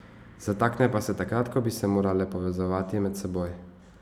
Zatakne pa se takrat, ko bi se morale povezovati med seboj.